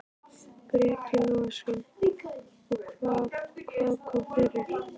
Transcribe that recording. Breki Logason: Og hvað, hvað kom fyrir?